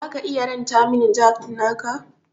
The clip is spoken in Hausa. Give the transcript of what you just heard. Zaka iya ranta min jack naka?